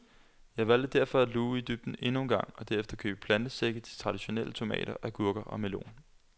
Jeg valgte derfor at luge i dybden endnu engang og derefter købe plantesække til de traditionelle tomater, agurker og melon.